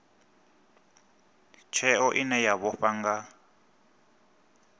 tsheo ine ya vhofha nga